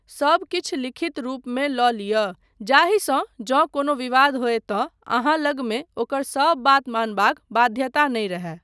सब किछु लिखित रूपमे लऽ लिअ जाहिसँ जँ कोनो विवाद होय तँ अहाँ लगमे ओकर सब बात मानबाक बाध्यता नहि रहय।